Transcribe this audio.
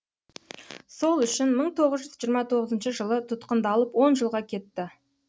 сол үшін мың тоғыз жүз жиырма тоғызыншы жылы тұтқындалып он жылға кетті